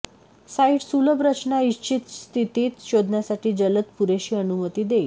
site सुलभ रचना इच्छित स्थितीत शोधण्यासाठी जलद पुरेशी अनुमती देईल